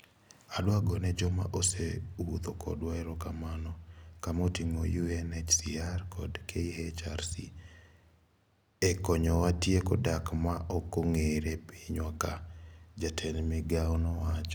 "Adwa gone joma osewuotho kodwa erokamano. Kama oting'o UNHCR kod KHRC e konyowa tieko dak ma okong'ere e pinywa ka." Jatend migao nowacho.